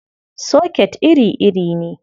Soket iri-iri ne.